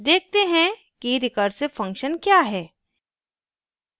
देखते हैं कि recursive function क्या है